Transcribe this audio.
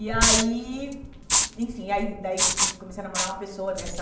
E aí... Enfim, aí daí hum comecei a namorar uma pessoa dessa...